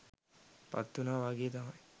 පත් වුණා වාගේ තමයි.